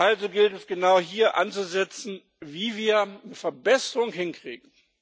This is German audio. Also gilt es, genau hier anzusetzen, wie wir Verbesserungen hinkriegen.